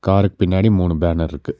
காருக் பின்னாடி மூணு பேனர்ருக்கு .